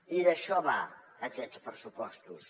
i d’això van aquests pressupostos